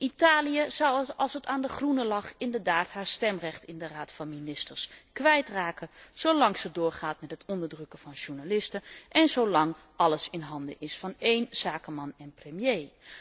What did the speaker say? Italië zou, als het aan de Groenen lag, inderdaad haar stemrecht in de Raad van Ministers kwijtraken zolang ze doorgaat met het onderdrukken van journalisten en zolang alles in handen is van één zakenman en premier.